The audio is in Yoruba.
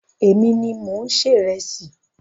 Èmi ni mò ń se ìresì.